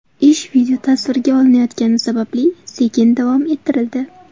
Ish videotasvirga olinayotgani sababli sekin davom ettirildi.